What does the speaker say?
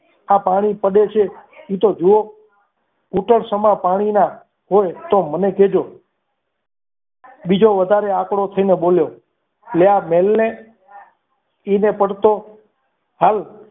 આ પાણી પડે છે એ તો જુઓ ઘૂંટણ સમા પાણીના ના હોય તો મને કહેજો બીજો વધારે આંકડો થી ના બોલ્યો લે આ મિલને એને પડતો હાલ.